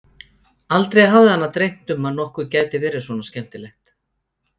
Aldrei hafði hana dreymt um að nokkuð gæti verið svona skemmtilegt.